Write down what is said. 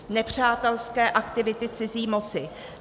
Nepřátelské aktivity cizí moci.